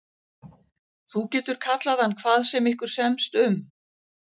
Þú getur kallað hann hvað sem ykkur semst um.